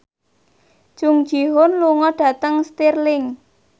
Jung Ji Hoon lunga dhateng Stirling